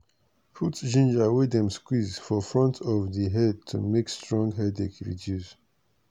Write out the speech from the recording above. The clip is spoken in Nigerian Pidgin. put ginger wey dem squeeze for front of di head to make strong headache reduce.